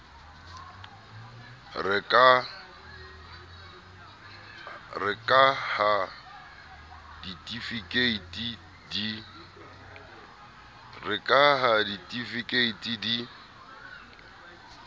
re ka ha ditifikeiti di